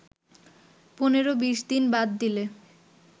১৫-২০ দিন বাদ দিলে